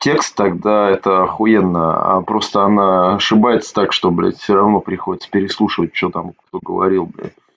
текст тогда это ахуенно аа просто она ошибается так что блять все равно приходится переслушивать что там кто говорил блять